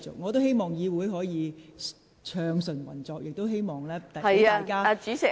我希望議會可以暢順運作，亦希望能讓大家發言。